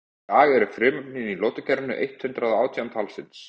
í dag eru frumefnin í lotukerfinu eitt hundruð og átján talsins